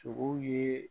Sogow ye